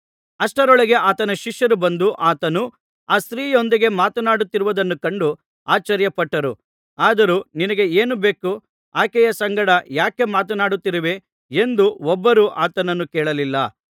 ಅಷ್ಟರೊಳಗೆ ಆತನ ಶಿಷ್ಯರು ಬಂದು ಆತನು ಆ ಸ್ತ್ರೀಯೊಂದಿಗೆ ಮಾತನಾಡುತ್ತಿರುವುದನ್ನು ಕಂಡು ಆಶ್ಚರ್ಯಪಟ್ಟರು ಆದರೂ ನಿನಗೆ ಏನು ಬೇಕು ಆಕೆಯ ಸಂಗಡ ಯಾಕೆ ಮಾತನಾಡುತ್ತಿರುವೆ ಎಂದು ಒಬ್ಬರೂ ಆತನನ್ನು ಕೇಳಲಿಲ್ಲ